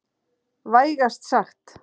Vægast sagt.